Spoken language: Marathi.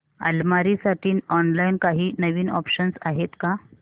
अलमारी साठी ऑनलाइन काही नवीन ऑप्शन्स आहेत का